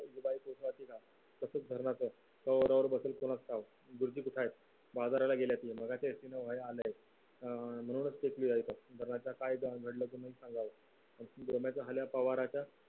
तसेच धरणारचं तोरणावर बसेल कुणास ठाऊक बाजाराला गेल्याती मगाशी काय घडलं ते सांगावं गोम्याचा हल्या पवाराच्या